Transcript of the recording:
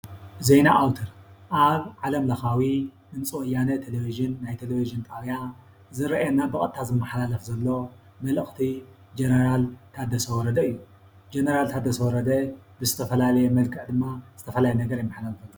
ዜና ኣውተር ኣብ ዓለምለካዊ ድምፂ ወያነ ቴለቨዥን ናይ ቴለቨዥን ጠብያ ዝርእየና ብቀጥታ ዝማሓላለፍ ዘሎ መልእክቲ ጀነራል ታደሰ ወረደ እዩ። ጀነራል ታደሰ ወረደ ብዝተፈለለዩ መልክዕ ድማ ዝተፈላላዩ ነገር የመሓላልፍ።